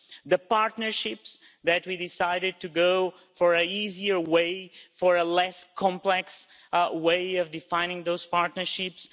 The partnerships where we decided to go for an easier way, for a less complex way of defining those partnerships.